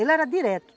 Ele era direto.